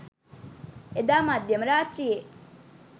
එදා මධ්‍යම රාත්‍රියේ